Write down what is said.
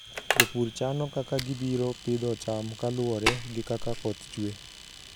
Jopur chano kaka gibiro pidho cham ka luwore gi kaka koth chwe.